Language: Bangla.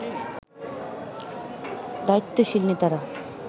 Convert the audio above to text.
দায়িত্বশীল নেতারা